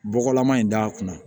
Bɔgɔlama in da kunna